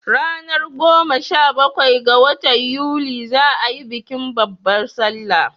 Ranar goma sha bakwai ga watan yuni za a yi bikin babbar salla